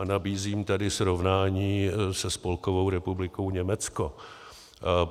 A nabízím tady srovnání se Spolkovou republikou Německo.